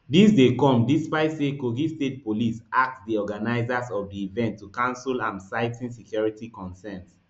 dis dey come despite say kogi state police ask di organisers of di event to cancel am citing security concerns